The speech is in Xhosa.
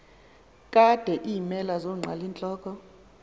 kade iimela zonqalintloko